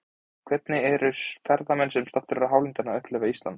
En hvernig eru ferðamenn sem staddir eru á landinu að upplifa Ísland?